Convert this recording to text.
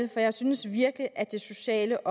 jeg synes virkelig at det sociale